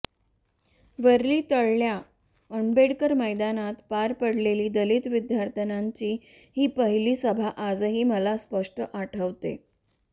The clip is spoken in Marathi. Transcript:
वरळीतल्या आंबेडकर मैदानात पार पडलेली दलित विद्यार्थ्यांची ही पहिला सभा आजही मला स्पष्ट आठवते